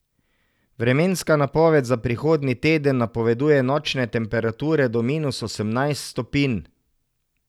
Vremenska napoved za prihodnji teden napoveduje nočne temperature do minus osemnajst stopinj.